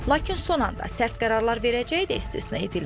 Lakin son anda sərt qərarlar verəcəyi də istisna edilmir.